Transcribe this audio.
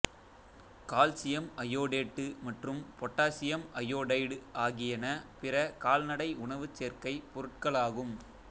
calcium iodate மற்றும் potassium iodide ஆகியன பிற கால்நடை உணவு சேர்க்கைப் பொருட்களாகும்